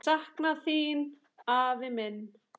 Ég sakna þín, afi minn.